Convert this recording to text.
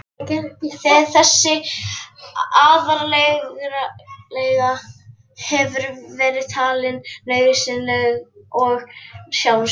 Þessi aðalregla hefur verið talin nauðsynleg og sjálfsögð.